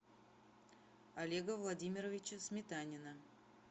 олега владимировича сметанина